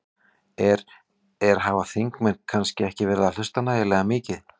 Er, er, hafa þingmenn kannski ekki verið að hlusta nægilega mikið?